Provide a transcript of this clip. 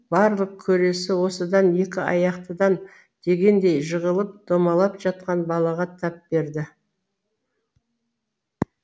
барлық көресі осыдан екі аяқтыдан дегендей жығылып домалап жатқан балаға тап берді